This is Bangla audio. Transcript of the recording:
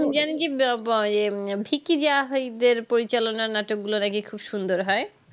উম যে আমি কি ব্যা ব্যাএ উম ফিকি জাহয়ীব্বের পরিচালনা নাটক গুলা নাকি খুব সুন্দর হয়